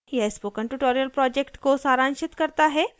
यह spoken tutorial को सारांशित करता है